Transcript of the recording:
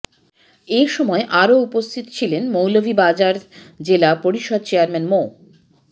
এ সময় আরও উপস্থিত ছিলেন মৌলভীবাজার জেলা পরিষদ চেয়ারম্যান মো